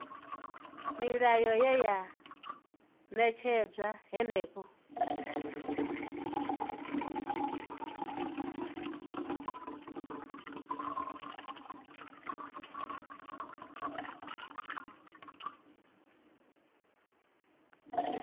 milayo ye ya ṅetshedzwa henefho